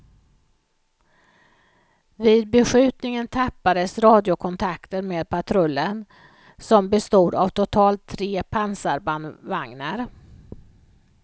Vid beskjutningen tappades radiokontakten med patrullen, som bestod av totalt tre pansarbandvagnar.